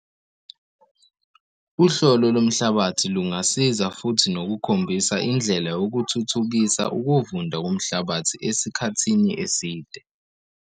Uhlolo lomhlabathi lungasiza futhi nokukhombisa indlela yokuthuthukisa ukuvunda komhlabathi esikhathini eside.